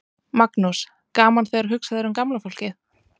Magnús: Gaman þegar hugsað er um gamla fólkið?